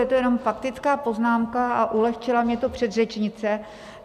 Je to jenom faktická poznámka a ulehčila mi to předřečnice.